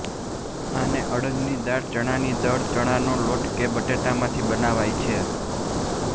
આને અડદની દાળ ચણાની દાળ ચણાનો લોટ કે બટેટામાંથી બનાવાય છે